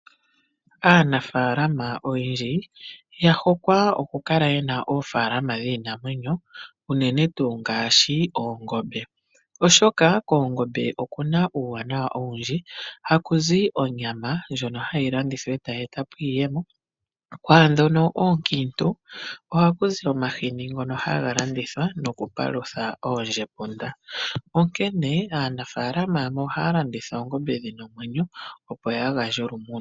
Aanafalama oyendji yahokwa oku kala ye na oofaalama dhiinamwenyo unene tuu ngaashi oongombe, oshoka koongombe okuna uuwanawa owundji. Hakuzi onyama ndjono hayi landithwa eta yi eta po iiyemo nokwaandhono oonkiitu ohaku zi omahini ngono haga landithwa nokupalutha oondjepunda. Onkene aanafalama yamwe ohaya landitha oongombe dhi na omwenyo, opo ya gandje olumuno.